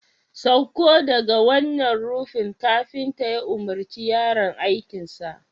Sauko daga wannan rufin kafinta ya umarci yaron aikin sa